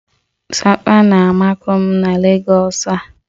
Sapa(aguu) na-amakụ m na Legọs a